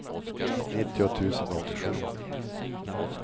nittio tusen åttiosju